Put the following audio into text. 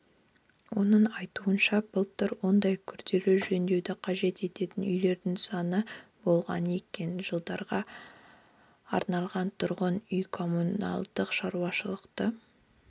оның айтуынша былтыр ондай күрделі жөндеуді қажет ететін үйлердің саны болған екен жылдарға арналған тұрғынүй-коммуналдық шаруашылықты